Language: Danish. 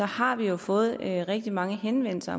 har vi jo fået rigtig mange henvendelser